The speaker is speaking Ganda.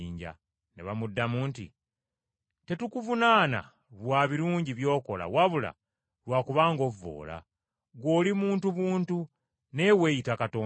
Ne bamuddamu nti, “Tetukuvunaana lwa birungi by’okola wabula lwa kubanga ovvoola; ggwe oli muntu buntu naye weeyita Katonda.”